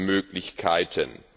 Möglichkeiten.